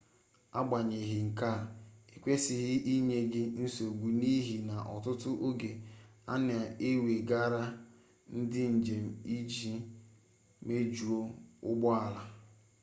agbanyeghị nke a ekwesịghị inye gị nsogbu n'ihi na ọtụtụ oge a na-ewegharị ndị njem iji mejuo ụgbọ ala